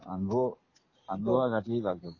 अंघोळ घातली लागेल